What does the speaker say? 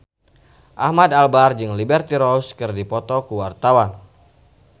Ahmad Albar jeung Liberty Ross keur dipoto ku wartawan